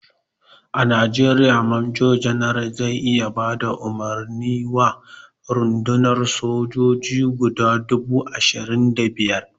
A najeriya major general zai iya bada umarni wa rundunan sojoji guda dubu ashirin da biyar